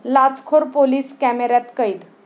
लाचखोर police कॅमेऱ्यात कैद